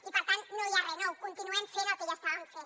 i per tant no hi ha re nou continuem fent el que ja estàvem fent